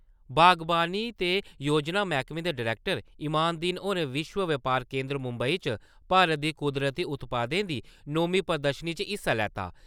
बागवानी ते योजना मैह्कमे दे डरैक्टर इमान-दीन होरें विश्व बपार केंदर मुम्बई च भारत दी कुदरती उत्पादें दी नोमीं प्रदर्शनी च हिस्सा लैता।